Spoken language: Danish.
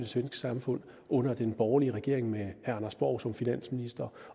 svenske samfund under den borgerlige regering med anders borg som finansminister